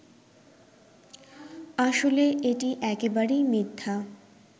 আসলে এটি একেবারেই মিথ্যা